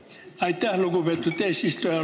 Aitäh, lugupeetud eesistuja!